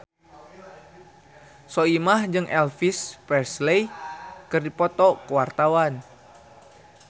Soimah jeung Elvis Presley keur dipoto ku wartawan